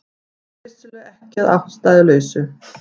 Það er vissulega ekki að ástæðulausu